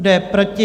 Kdo je proti?